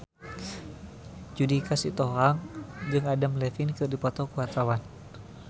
Judika Sitohang jeung Adam Levine keur dipoto ku wartawan